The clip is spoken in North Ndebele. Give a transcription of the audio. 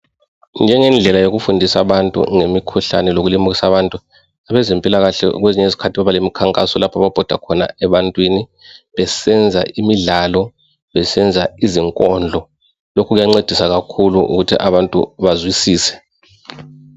njengendlela yokufundisa abantu ngemikhuhlane lokulimikisa abantu abezempilakahle kwezinye izikhathi baba lemikhankaso lapho ababhoda khona ebantwini besenza imidlalo besenza izinkondlo lokhu kuyancedisa kakhulu ukuthi abantu bazwisise